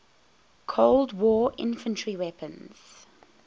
cold war infantry weapons